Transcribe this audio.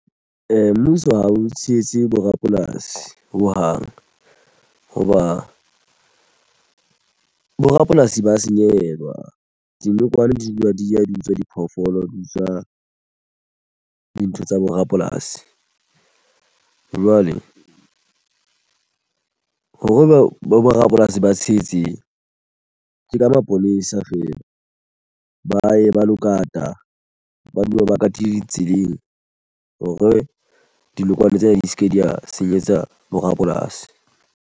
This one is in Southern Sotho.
Mmuso ha o tshehetse bo rapolasi ho hang hoba bo rapolasi ba senyehelwa dinokwane di dula di ya di utswa diphoofolo di utswa dintho tsa bo rapolasi jwale hore bo rapolasi ba tshetse ke ka mapolesa fela ba ye ba lo kata ba dula ba katile tseleng hore dinokwane tsena di se ke di ya senyetsa borapolasi.